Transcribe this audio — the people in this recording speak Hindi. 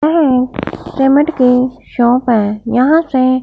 यह पेमेंट के शॉप है यहां से--